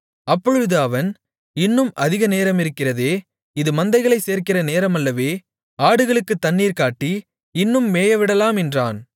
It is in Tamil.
அப்பொழுது அவன் இன்னும் அதிக நேரமிருக்கிறதே இது மந்தைகளைச் சேர்க்கிற நேரமல்லவே ஆடுகளுக்குத் தண்ணீர் காட்டி இன்னும் மேயவிடலாம் என்றான்